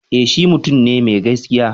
E, shi mutum ne mai gaskiya.